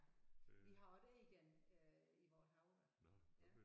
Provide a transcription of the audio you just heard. Vi har også et egern øh i vores have da ja